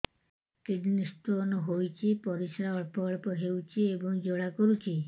kidney stone ହୋଇଛି ପରିସ୍ରା ଅଳ୍ପ ଅଳ୍ପ ହେଉଛି ଏବଂ ଜ୍ୱାଳା କରୁଛି